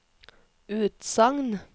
utsagn